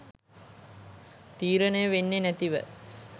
තීරණය වෙන්නේ නැතිව.